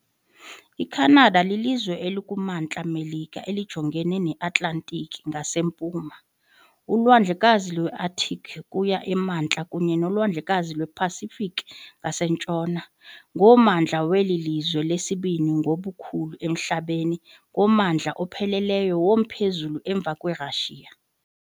IKhanada lilizwe elikuMntla Melika elijongene neAtlantiki ngasempuma, uLwandlekazi lweArctic ukuya emantla kunye noLwandlekazi lwePasifiki ngasentshona. . Ngommandla we lilizwe lesibini ngobukhulu emhlabeni ngommandla opheleleyo womphezulu emva kweRussia .